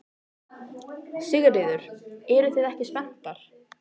Sigríður: Eruð þið ekki spenntar?